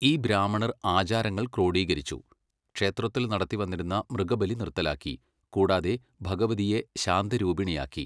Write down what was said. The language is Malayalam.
ഈ ബ്രാഹ്മണർ ആചാരങ്ങൾ ക്രോഡീകരിച്ചു, ക്ഷേത്രത്തിൽ നടത്തിവന്നിരുന്ന മൃഗബലി നിർത്തലാക്കി, കൂടാതെ ഭഗവതിയെ ശാന്തരൂപിണിയാക്കി.